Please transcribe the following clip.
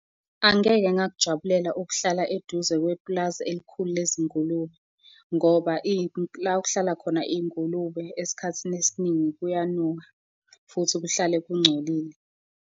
Angeke ngakujabulela ukuhlala eduze kwepulazi elikhulu lezingulube ngoba la okuhlala khona iy'ngulube esikhathini esiningi kuyanuka futhi kuhlale kungcolile.